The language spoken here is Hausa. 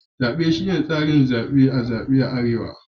Zabe shine tsarin zabe na zabe a arewa.